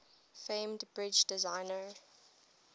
famed bridge designer